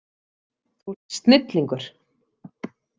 Þú ert snillingur!